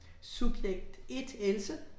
Subjekt 1, Else